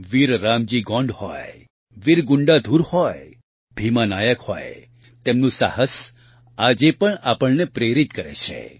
વીર રામજી ગોંડ હોય વીર ગુંડાધુર હોય ભીમા નાયક હોય તેમનું સાહસ આજે પણ આપણને પ્રેરિત કરે છે